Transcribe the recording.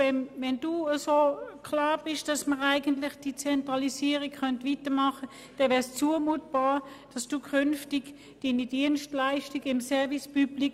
Wenn es für Sie so klar ist, dass man mit der Zentralisierung fortfahren könnte, würde das nichts anderes heissen, als dass es zumutbar wäre, wenn Sie künftig Ihre Service-public-Dienstleistungen in Aarau beziehen.